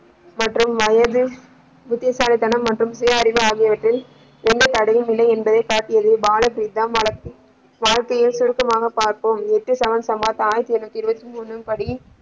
மற்றும் வயது புத்திசாலித்தனம் மற்றும் சுய அறிவு ஆகியவற்றில் எந்த தடையும் இல்லை என்று காட்டியதில் பா வாழ்க்கையை சுருக்கமாக பார்ப்போம் ஆயிரத்தில் இருநூற்றி இருபத்தி முணு.